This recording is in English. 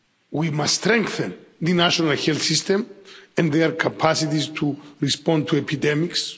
We must strengthen the national health systems and their capacities to respond to epidemics.